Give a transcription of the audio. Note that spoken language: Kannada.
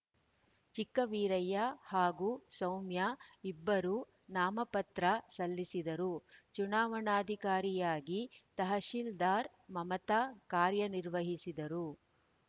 ಚಿಕ್ಕವೀರಯ್ಯ ಹಾಗೂ ಸೌಮ್ಯ ಇಬ್ಬರು ನಾಮ ಪತ್ರ ಸಲ್ಲಿಸಿದ್ದರು ಚುನಾವಣಾಧಿಕಾರಿಯಾಗಿ ತಹಶೀಲ್ದಾರ್ ಮಮತ ಕಾರ್ಯನಿರ್ವಹಿಸಿದರು